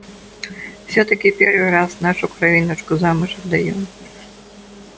всё-таки первый раз нашу кровиночку замуж отдаём